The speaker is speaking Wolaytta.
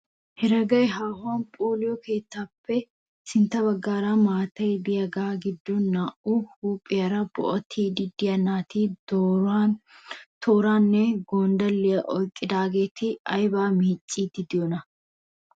Heregay haahuwan phooloyo keettaappe sintta baggan maatay diyagaa giddon naa"u huuphiyaara bo'attiiddi diya naati tooraanne gondalliya oyqqidagaati ayba miiccidi diyonaa?